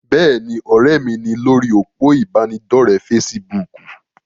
Bẹ́ẹ̀ni, ọ̀rẹ́ mi ni lórí òpó ìbánidọ́rẹ̀ fesibúùkù.